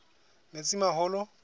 metsimaholo